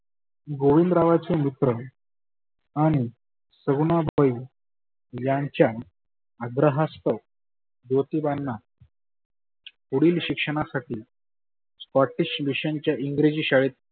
गोविंद रावांचे मित्र आणि सगुनाबाई यांच्या आग्रहास्तव ज्योतीबांना पुढील शिक्षणासाठी scottish mission च्या इंग्रजी शाळेत